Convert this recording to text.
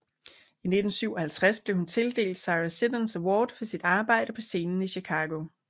I 1957 blev hun tildelt Sarah Siddons Award for sit arbejde på scenen i Chicago